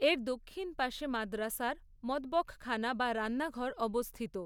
এর দক্ষিণ পাশে মাদ্রাসার মতবখখানা বা রান্নাঘর অবস্থিত।